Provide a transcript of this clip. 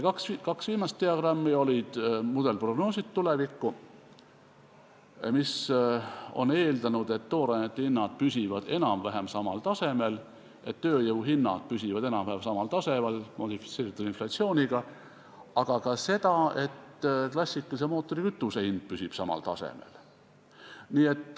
Kaks viimast diagrammi olid tuleviku mudelprognoosid, kus on eeldatud, et toorainete hinnad püsivad enam-vähem samal tasemel, et tööjõuhinnad püsivad enam-vähem samal tasemel modifitseerituna inflatsiooniga, aga ka seda, et klassikalise mootorikütuse hind püsib samal tasemel.